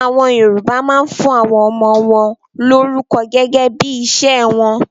AÀwọn Yorùbá máa ń fún àwọn ọmọ wọn lórúkọ gẹ́gẹ́ bí iṣẹ́ wọn